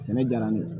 Sɛnɛ diyara ne ye